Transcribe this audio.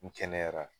N kɛnɛyara